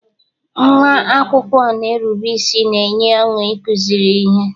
Nnwa akwụkwọ na-erube isi na-enye ọṅụ ịkụziri ihe.